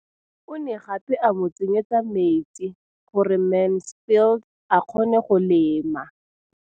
O ne gape a mo tsenyetsa metsi gore Mansfield a kgone go lema.